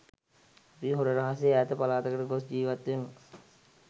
අපි හොර රහසේ ඈත පළාතකට ගොස් ජීවත්වෙමු